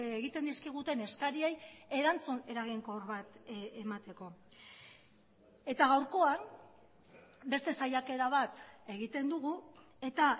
egiten dizkiguten eskariei erantzun eraginkor bat emateko eta gaurkoan beste saiakera bat egiten dugu eta